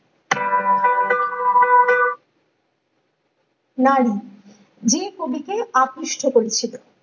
নারী যে কবিকে আকৃষ্ট করেছিল